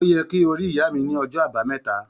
Ó yẹ kí o rí ìyá mi ní ọjọ́ Àbáméta.